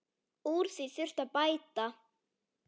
Úr því þurfi að bæta.